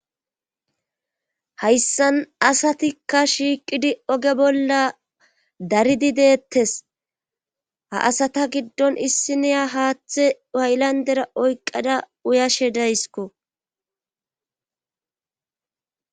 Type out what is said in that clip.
hayssan asatikka shiiqidi oge bolla daridi deettes ha asata giddon issi niya haaththe waylandera oyqqada uyashe dayskko